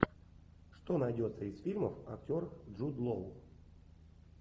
что найдется из фильмов актер джуд лоу